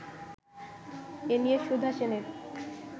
এ নিয়ে সুধা সেনের